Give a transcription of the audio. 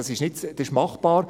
Das ist machbar.